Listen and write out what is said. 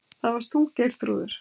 Það varst þú, Geirþrúður.